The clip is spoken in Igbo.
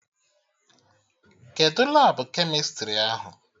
Kedụ Labụ kemịstrị ahụ?